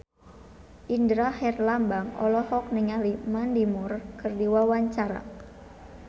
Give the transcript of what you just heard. Indra Herlambang olohok ningali Mandy Moore keur diwawancara